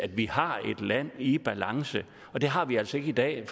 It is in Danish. vi har et land i balance det har vi altså ikke i dag